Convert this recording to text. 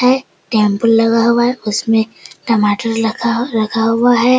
है टेम्पू लगा हुआ है उसमें टमाटर लगा रखा हुआ है।